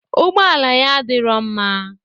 ụgbọala ya adirọ mma.